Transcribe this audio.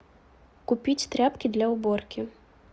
купить тряпки для уборки